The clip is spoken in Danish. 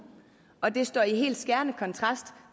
og det står helt i skærende kontrast